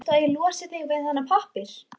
Viltu að ég losi þig við þennan pappír?